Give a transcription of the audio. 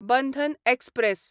Bandhan express